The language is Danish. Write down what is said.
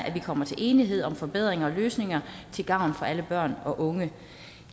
at vi kommer til enighed om forbedringer og løsninger til gavn for alle børn og unge